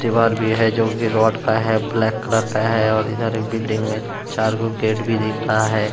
दीवार भी है जो भी रॉड का है ब्लैक कलर का है और इधर एक बिल्डिंग में चार गो गेट भी दिख रहा है।